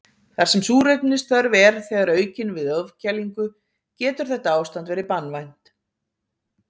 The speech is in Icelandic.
þar sem súrefnisþörf er þegar aukin við ofkælingu getur þetta ástand verið banvænt